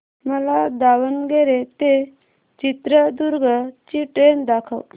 मला दावणगेरे ते चित्रदुर्ग ची ट्रेन दाखव